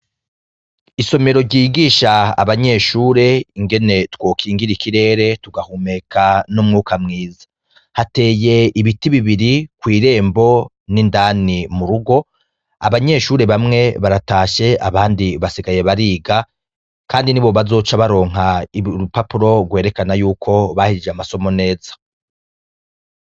Isomero ryigisha abanyeshure ingene twokingira ikirere tugahumeka n'umwuka mwiza, hateye ibiti bibiri kw'irembo n'indani mu rugo, abanyeshure bamwe baratashe abandi basigaye bariga, kandi ni bo bazoca baronka irupapuro rwereka ana yuko baheje amasomo neza.